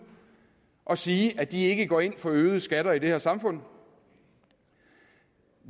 at sige at de ikke går ind for øgede skatter i det her samfund